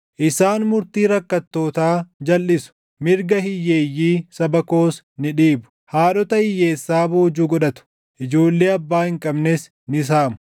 isaan murtii rakkattootaa jalʼisu; mirga hiyyeeyyii saba koos ni dhiibu; haadhota hiyyeessaa boojuu godhatu; ijoollee abbaa hin qabnes ni saamu.